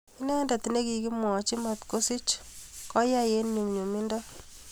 inendet ne kikimwachi matko sich koai eng nyumnyumiet